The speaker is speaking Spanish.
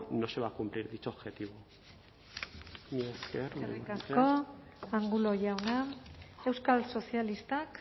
no se va a cumplir dicho objetivo eskerrik asko angulo jauna euskal sozialistak